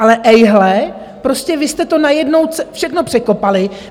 Ale ejhle, prostě vy jste to najednou všechno překopali.